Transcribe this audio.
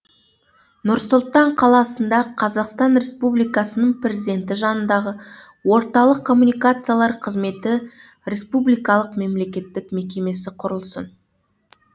нұр сұлтан қаласында қазақстан республикасының президенті жанындағы орталық коммуникациялар қызметі республикалық мемлекеттік мекемесі құрылсын